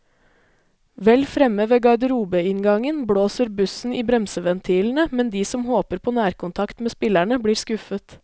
Vel fremme ved garderobeinngangen blåser bussen i bremseventilene, men de som håper på nærkontakt med spillerne, blir skuffet.